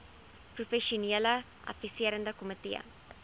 professionele adviserende komitee